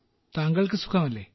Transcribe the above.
താങ്കൾക്ക് സുഖമല്ലേ